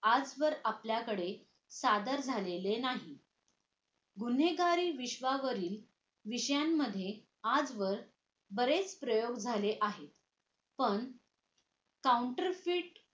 आजवर आपल्याकडे सादर झालेले नाही गुन्हेगारी विश्वावरील विषयांमध्ये आजवर बरेच प्रयोग झाले आहेत पण counter fit